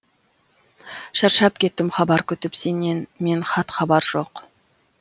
шаршап кеттім хабар күтіп сенен мен хат хабар жоқ